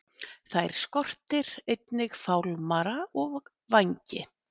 Þær skortir einnig fálmara og vængi.